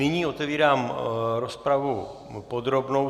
Nyní otevírám rozpravu podrobnou.